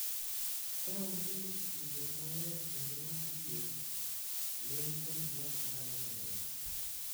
Ka onge tudruok maler kendo ma adier, lweny kod ywak nyalo medore,